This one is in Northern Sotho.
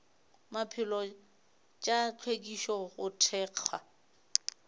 maphelo tša hlwekišo go thekga